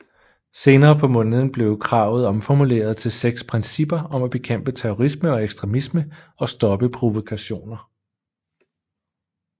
Senere på måneden blev kravet omformuleret til seks principper om at bekæmpe terrorisme og ekstremisme og stoppe provokationer